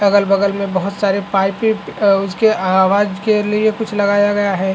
अगल-बगल में बहुत सारे पाइपे अ उसके आवाज के लिए कुछ लगाया गया है।